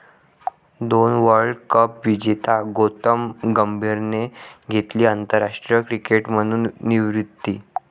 दोन world cup विजेत्या गौतम गंभीरने घेतली आंतरराष्ट्रीय क्रिकेटमधून निवृत्ती